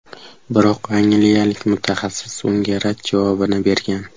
Biroq angliyalik mutaxassis unga rad javobini bergan.